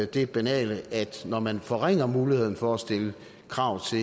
det banale at når man forringer muligheden for at stille krav